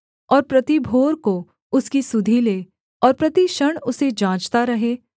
और प्रति भोर को उसकी सुधि ले और प्रति क्षण उसे जाँचता रहे